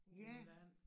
På land